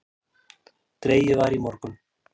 Dregið var í morgun